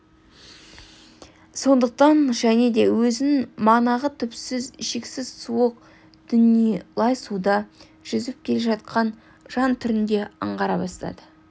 сондықтан және де өзін манағы түпсіз шексіз суық дүние лай суда жүзіп келе жатқан жан түрінде аңғара береді